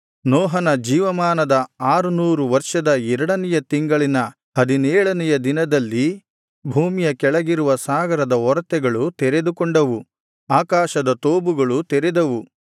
ನೋಹನ ಜೀವಮಾನದ ಆರುನೂರು ವರ್ಷದ ಎರಡನೆಯ ತಿಂಗಳಿನ ಹದಿನೇಳನೆಯ ದಿನದಲ್ಲಿ ಭೂಮಿಯ ಕೆಳಗಿರುವ ಸಾಗರದ ಒರತೆಗಳು ತೆರೆದುಕೊಂಡವು ಆಕಾಶದ ತೂಬುಗಳೂ ತೆರೆದವು